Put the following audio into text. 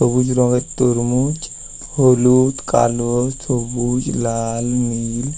সবুজ রঙের তরমুজ। হলুদ কালো সবুজ লাল নীল--